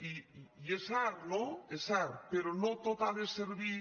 i és cert no és cert però no tot ha de servir